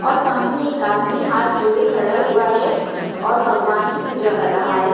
और सामने एक आदमी हाथ जोड़े खड़ा हुआ है और भगवान की पूजा कर रहा है।